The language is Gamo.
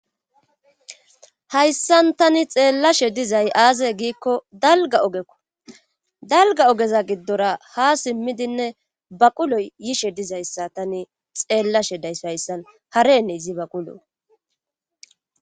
Hayssan tani xeellashe dizay aaze giikko dalga ogekko dalga ogeza giddora ha simmidinne baqulo yishe dizayssa tani xeellashe days hayssan haree izi baqulo.